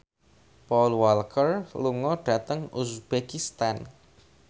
Paul Walker lunga dhateng uzbekistan